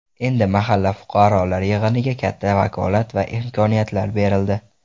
Endi mahalla fuqarolar yig‘iniga katta vakolat va imkoniyatlar berildi.